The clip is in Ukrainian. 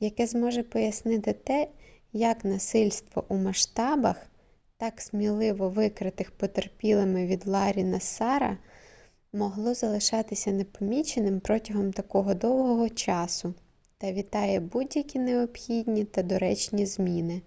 яке зможе пояснити те як насильство у масштабах так сміливо викритих потерпілими від ларрі нассара могло залишатися непоміченим протягом такого довгого часу та вітає будь-які необхідні та доречні зміни